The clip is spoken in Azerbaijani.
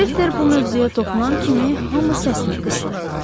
Şefter bu mövzuya toxunan kimi hamı səsini qısdı.